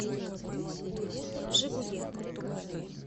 жигули